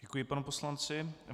Děkuji panu poslanci.